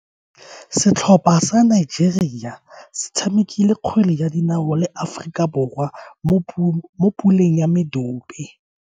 Setlhopha sa Nigeria se tshamekile kgwele ya dinao le Aforika Borwa mo puleng ya medupe.